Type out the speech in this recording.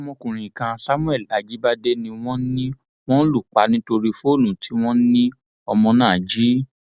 ọmọkùnrin kan samuel ajíbádé ni wọn ní wọn lù pa nítorí fóònù tí wọn ní ọmọ náà jí